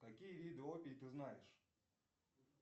какие виды опий ты знаешь